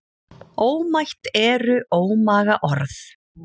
Ómætt eru ómaga orð.